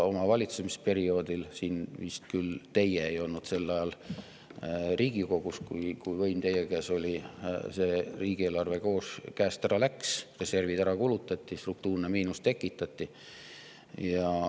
Teie valitsemisperioodil – teie ei olnud sel ajal vist küll Riigikogus –, kui võim teie käes oli, riigieelarve käest ära läks, reservid ära kulutati, struktuurne miinus tekitati.